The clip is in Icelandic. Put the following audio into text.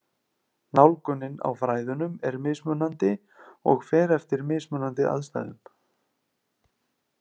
Nálgunin á fræðunum er mismunandi og fer eftir mismunandi aðstæðum.